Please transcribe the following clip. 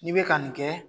N'i bɛ ka nin kɛ